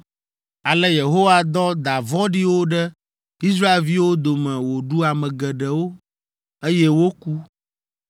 Ale Yehowa dɔ da vɔ̃ɖiwo ɖe Israelviwo dome woɖu ame geɖewo, eye woku.